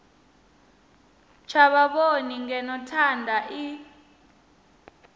tsha vhavhoni ngeno thanda i